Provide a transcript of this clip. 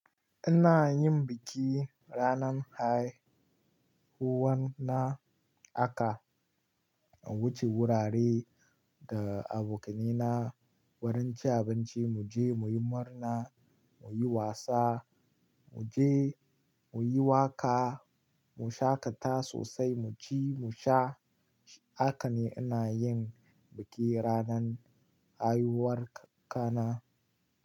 Ina yin biki ranan hai huwar na, aka wuce wurare da abokaina, wurin ci abinci, mu je muyi murna, muyi wasa, mu je muyi waka, mu shaƙata sosai, mu ci, mu sha. Hakane ina yin biki ranan haihuwar ka na.